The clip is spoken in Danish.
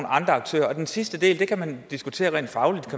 aktører den sidste del kan man diskutere rent fagligt